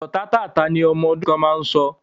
Ọ̀rọ̀ tátáààtá ni ọmọ ọdún kan máa ń sọ